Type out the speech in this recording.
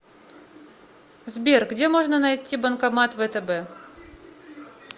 сбер где можно найти банкомат втб